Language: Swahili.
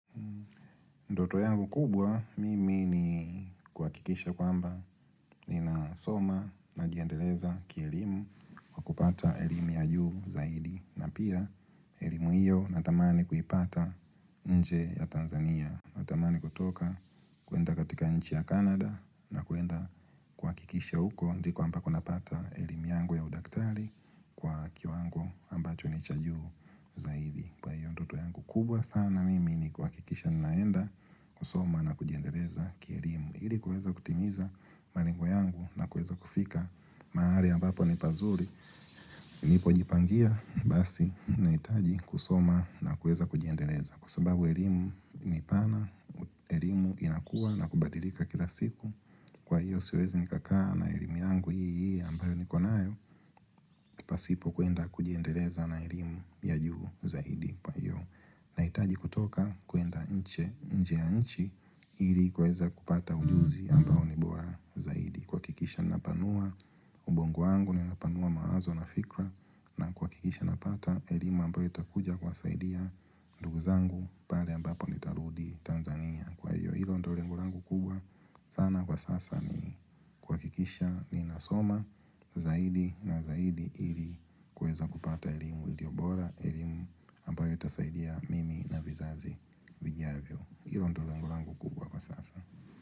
Ndoto yangu kubwa mimi ni kuha kikisha kwamba nina soma nakujiendeleza kielimu kupata elimu ya juu zaidi na pia elimu hiyo natamani kuipata nje ya Tanzania. Natamani kutoka kuenda katika nchi ya Canada na kuenda kuhakikisha huko ndiko ambako napata elimu yangu ya udaktari kwa kiwango ambacho ni cha juu zaidi. Kwa hiyo ndoto yangu kubwa sana mimi ni kuhakikisha naenda kusoma na kujiendeleza kielimu Ili kueza kutimiza malengo yangu na kueza kufika mahali ambapo ni pazuri nipo jipangia basi na hitaji kusoma na kueza kujiendeleza Kwa sababu elimu ni pana, elimu inakua na kubadilika kila siku Kwa hiyo siwezi nikakaa na elimu yangu hii hii ambayo nikonayo pasipo kuenda kujiendeleza na elimu ya juu zaidi na hitaji kutoka kuenda nje ya nchi ili kueza kupata ujuzi ambao ni bora zaidi Kuha kikisha napanua ubongo wangu nikunapanua mawazo na fikira na kuhakikisha napata elimu ambayo itakuja kuwasaidia ndugu zangu pale ambapo ni tarudi Tanzania Kwa hiyo ilo ndio lengo langu kubwa sana kwa sasa ni kuhakikisha ninasoma zaidi na zaidi ili kueza kupata elimu ilio bora, elimu, ambayo itasaidia mimi na vizazi vijiavyo ilo ndio lengu langu kubwa kwa sasa.